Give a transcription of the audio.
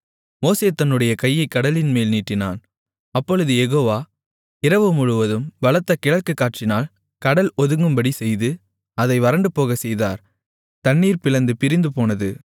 மோசே தன்னுடைய கையைக் கடலின்மேல் நீட்டினான் அப்பொழுது யெகோவா இரவுமுழுவதும் பலத்த கிழக்குக் காற்றினால் கடல் ஒதுங்கும்படிச் செய்து அதை வறண்டுபோகச்செய்தார் தண்ணீர் பிளந்து பிரிந்துபோனது